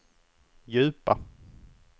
djupa